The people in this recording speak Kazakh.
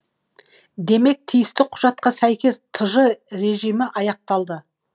демек тиісті құжатқа сәйкес тж режимі аяқталды